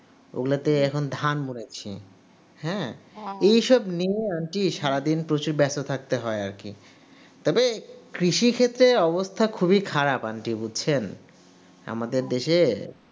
ওগুলোতে এখন ধান আছে, হ্যাঁ, এসব এসব নিয়ে আর কি সারাদিন প্রচুর ব্যস্ত থাকতে হয় আর কি তবে কৃষি ক্ষেত্রে অবস্থা খুবই খারাপ aunty বুঝছেন আমাদের দেশে